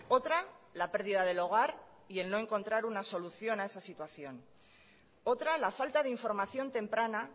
otra la pérdida del hogar y el no encontrar una solución a esa situación otra la falta de información temprana